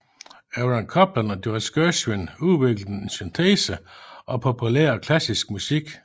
Aaron Copland og George Gershwin udviklede en syntese af populær og klassisk musik